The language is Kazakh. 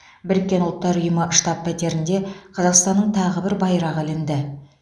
біріккен ұлттар ұйымы штаб пәтерінде қазақстанның тағы бір байрағы ілінді